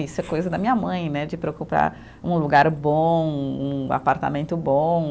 Isso é coisa da minha mãe né, de preocupar um lugar bom, um apartamento bom.